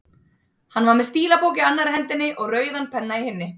Hann var með stílabók í annarri hendinni og rauðan penna í hinni.